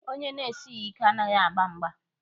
Onye na-esighi ike anaghị agba mgba.